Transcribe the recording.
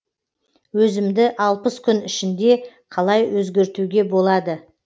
өзімді алпыс күн ішінде қалай өзгертуге болады